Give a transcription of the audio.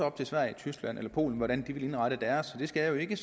op til sverige tyskland eller polen hvordan de vil indrette deres jeg skal jo ikke